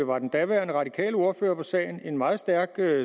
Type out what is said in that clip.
var den daværende radikale ordfører på sagen en meget stærk